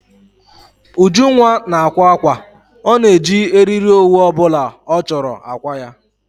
Ujunwa na-akwa ákwà. Ọ na eji eriri owu obula ọ chọrọ akwa ya